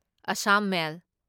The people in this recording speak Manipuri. ꯑꯁꯥꯝ ꯃꯦꯜ